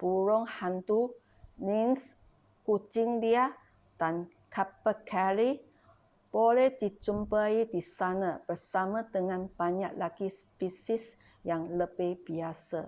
burung hantu lynx kucing liar dan capercaillie boleh dijumpai di sana bersama dengan banyak lagi spesies yang lebih biasa